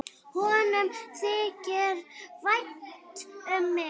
Honum þykir vænt um mig.